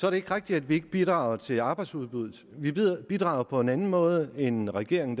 er ikke rigtigt at vi ikke bidrager til arbejdsudbuddet vi bidrager på en anden måde end regeringen